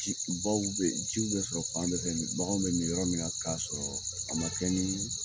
Ji baw be yen, ji be sɔrɔ fan bɛɛ bagan bɛ min yɔrɔ mi na k'a sɔrɔ a ma kɛ